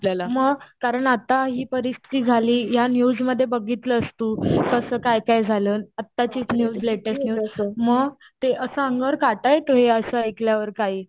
मग कारण आता ही परिस्थिती झाली या न्यूजमध्ये बघितलंस तू कास काय काय झालं अट्टाचीच न्यु लेटेस्ट मग ते असं अंगावर काटा येतो हे असं ऐकल्यावर काही.